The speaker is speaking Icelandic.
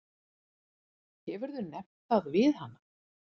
Hefurðu nefnt það við hana?